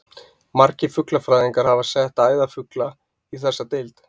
Margir fuglafræðingar hafa sett æðarfugla í þessa deild.